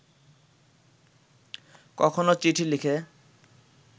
কখনো চিঠি লিখে